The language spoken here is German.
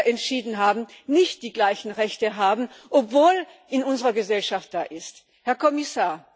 entschieden haben, nicht die gleichen Rechte haben, obwohl es in unserer Gesellschaft schon so ist.